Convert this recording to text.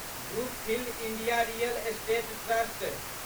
Brookfield India real estate trust